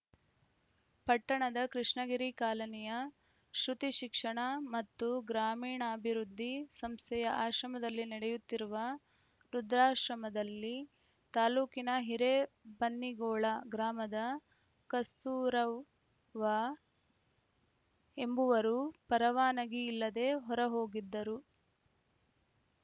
ಪಟ್ಟಣದ ಕೃಷ್ಣಗಿರಿ ಕಾಲನಿಯ ಶ್ರುತಿ ಶಿಕ್ಷಣ ಮತ್ತು ಗ್ರಾಮೀಣಾಭಿವೃದ್ಧಿ ಸಂಸ್ಥೆಯ ಆಶ್ರಯದಲ್ಲಿ ನಡೆಯುತ್ತಿರುವ ವೃದ್ಧಾಶ್ರಮದಲ್ಲಿ ತಾಲೂಕಿನ ಹಿರೇಬನ್ನಿಗೊಳ ಗ್ರಾಮದ ಕಸ್ತೂರವ್ವ ಎಂಬುವರು ಪರವಾನಗಿ ಇಲ್ಲದೇ ಹೊರಹೋಗಿದ್ದರು